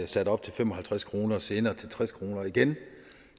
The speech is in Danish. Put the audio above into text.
sat op til fem og halvtreds kroner og senere til tres kroner igen vi